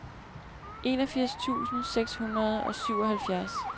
enogfirs tusind seks hundrede og syvoghalvfjerds